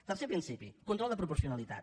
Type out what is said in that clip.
tercer principi control de proporcionalitat